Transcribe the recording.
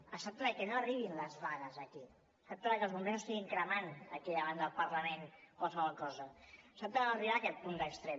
es tracta de que no arribin les vagues aquí es tracta de que els bombers no estiguin cremant aquí davant del parlament qualsevol cosa es tracta de no arribar a aquest punt d’extrem